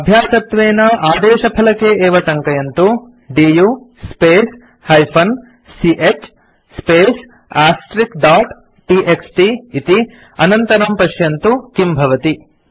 अभ्यासत्वेन आदेशफलके एवं टङ्कयन्तु दु स्पेस् -ch space टीएक्सटी इति अनन्तरं पश्यन्तु किं भवति